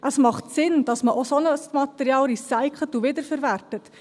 Es macht Sinn, dass man auch ein solches Material recycelt und wiederverwertet;